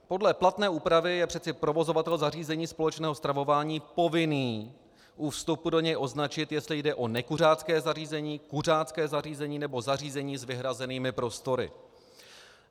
Podle platné úpravy je přeci provozovatel zařízení společného stravování povinen u vstupu do něj označit, jestli jde o nekuřácké zařízení, kuřácké zařízení nebo zařízení s vyhrazenými prostory.